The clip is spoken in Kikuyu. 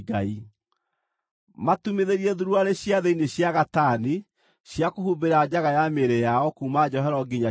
“Matumithĩrie thuruarĩ cia thĩinĩ cia gatani, cia kũhumbĩra njaga ya mĩĩrĩ yao kuuma njohero nginya ciero-inĩ.